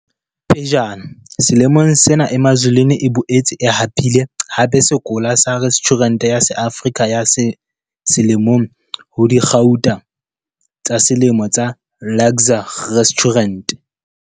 Pejana selemong sena Emazulwini e boetse e hapile hape sekola sa Restjhurente ya SeAfrika ya Selemo ho Dikgau tsa Selemo tsa Luxe Restaurant.